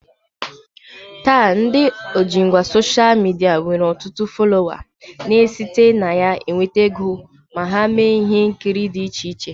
Taa, ndị ojingwa soshal midia nwere ọtụtụ folowa na-esite na ya nweta ego ma ha mee ihe nkiri dị iche iche